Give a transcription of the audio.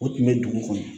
O tun bɛ dugu kɔnɔ